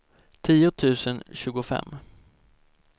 tio tusen tjugofem